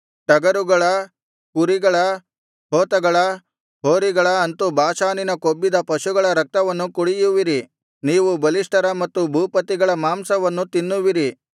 ಟಗರುಗಳ ಕುರಿಗಳ ಹೋತಗಳ ಹೋರಿಗಳ ಅಂತು ಬಾಷಾನಿನ ಕೊಬ್ಬಿದ ಪಶುಗಳ ರಕ್ತವನ್ನು ಕುಡಿಯುವಿರಿ ನೀವು ಬಲಿಷ್ಠರ ಮತ್ತು ಭೂಪತಿಗಳ ಮಾಂಸವನ್ನು ತಿನ್ನುವಿರಿ